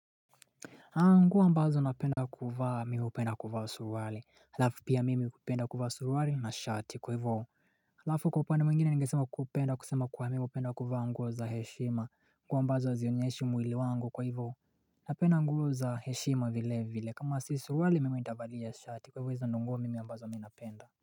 Nguo ambazo napenda kuvaa mimi hupenda kuvaa suruali halafu pia mimi kupenda kufaa surwale na shati kwa hivoo Halafu kwa upande mwengine nigesema kupenda kusema kwa mimi kupenda kuvaa nguo za heshima kuwa ambazo zionyeshi mwili wangu kwa hivoo Napenda nguo za heshima vile vile kama si surwale mimi intabalija shati kwa hivoo izanungo mimi ambazo miho napenda.